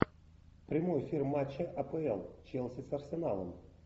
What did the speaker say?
прямой эфир матча апл челси с арсеналом